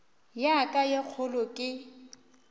ya ka ye kgolo ke